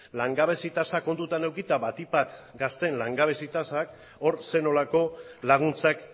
langabezi tasa kontutan edukita batik bat gazteen langabezi tasa hor zer nolako laguntzak